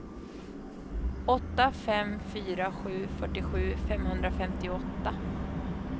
åtta fem fyra sju fyrtiosju femhundrafemtioåtta